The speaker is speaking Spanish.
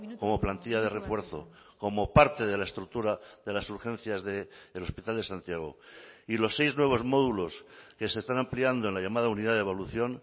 como plantilla de refuerzo como parte de la estructura de las urgencias del hospital de santiago y los seis nuevos módulos que se están ampliando en la llamada unidad de evolución